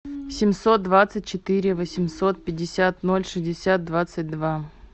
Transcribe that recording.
семьсот двадцать четыре восемьсот пятьдесят ноль шестьдесят двадцать два